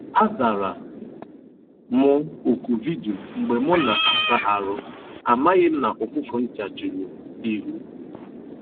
A zara m oku vidio mgbe mụ na - asa arụ, amaghị m na ụfụfụ ncha juru m ihu.